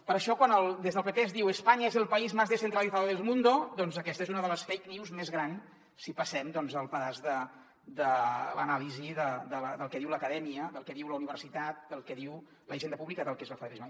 per això quan des del pp es diu españa es el país más descentralizado del mundo doncs aquesta és una de les fake news més grans si passem el sedàs de l’anàlisi del que diu l’acadèmia del que diu la universitat del que diu la hisenda pú·blica sobre què és el federalisme